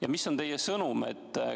Ja mis on teie sõnum?